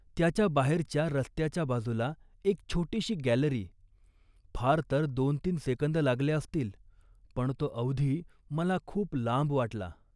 त्याच्या बाहेरच्या, रस्त्याच्या बाजूला एक छोटीशी गॅलरी. फार तर दोनतीन सेकंद लागले असतील, पण तो अवधी मला खूप लांब वाटला